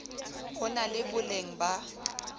ho na le boleng ba